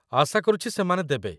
ଆଶା କରୁଛି ସେମାନେ ଦେବେ।